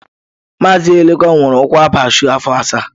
Mazi Elekwa nwere ụkwụ abaa shụụ afọ asaa.